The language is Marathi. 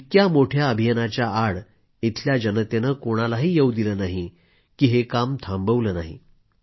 इतक्या मोठ्या अभियानाच्या आड इथल्या जनतेनं कोणालाही येवू दिलं नाही की हे काम थांबवलं नाही